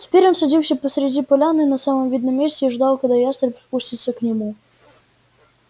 теперь он садился посреди поляны на самом видном месте и ждал когда ястреб спустится к нему